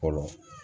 Fɔlɔ